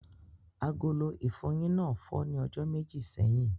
Agolo ìfọyín náà fọ́ ní ọjọ́ méjì sẹ́yìn.